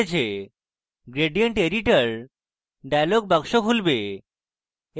gradient editor dialog box খুলবে